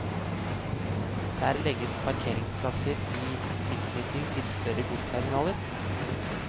Der legges parkeringsplasser i tilknytning til større godsterminaler.